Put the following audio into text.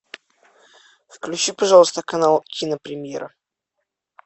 включи пожалуйста канал кинопремьера